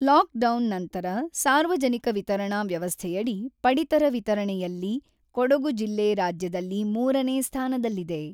Lockdown ನಂತರ ಸಾರ್ವಜನಿಕ ವಿತರಣಾ ವ್ಯವಸ್ಥೆಯಡಿ ಪಡಿತರ ವಿತರಣೆಯಲ್ಲಿ ಕೊಡಗು ಜಿಲ್ಲೆ ರಾಜ್ಯದಲ್ಲಿ ಮೂರನೇ ಸ್ಥಾನದಲ್ಲಿದೆ.